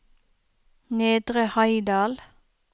Nedre Heidal